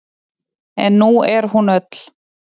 En nú er hún öll.